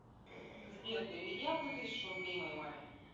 сбер переведи одну тысячу рублей моей маме